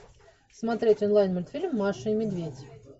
смотреть онлайн мультфильм маша и медведь